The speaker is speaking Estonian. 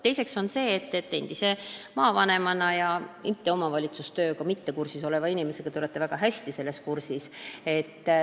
Teiseks, endise maavanemana ja omavalitsustööga kursis oleva inimesena te olete väga hästi selle kõigega kursis.